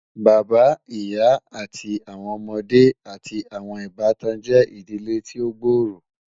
Bàbá, ìyà, àti awọn ọmọde, àti awọn ìbàtàn jẹ́ ìdílé tí o gbóòró